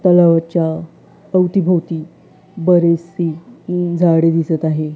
तलावाच्या अवतीभवती बरीचसी उम झाडे दिसत आहे.